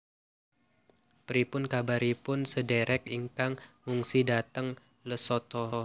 Pripun kabaripun sedherek ingkang ngungsi dateng Lesotho?